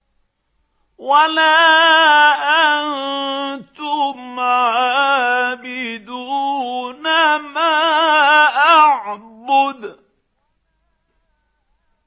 وَلَا أَنتُمْ عَابِدُونَ مَا أَعْبُدُ